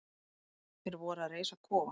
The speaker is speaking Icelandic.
Þeir voru að reisa kofa.